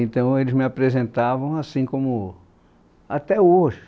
Então, eles me apresentavam assim como... Até hoje.